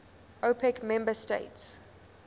opec member states